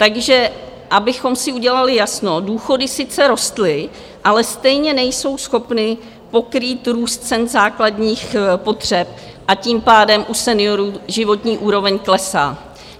Takže abychom si udělali jasno, důchody sice rostly, ale stejně nejsou schopny pokrýt růst cen základních potřeb, a tím pádem u seniorů životní úroveň klesá.